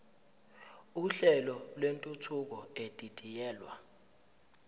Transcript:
uhlelo lwentuthuko edidiyelwe